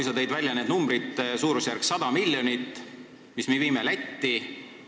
Sa tõid välja selle numbri – suurusjärgu 100 miljonit, mis me viime Lätti.